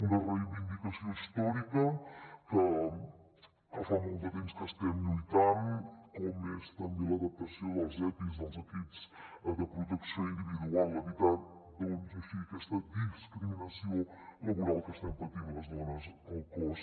una reivindicació històrica que fa molt de temps que estem lluitant com és també l’adaptació dels epis dels equips de protecció individual evitant així aquesta discriminació laboral que estem patint les dones al cos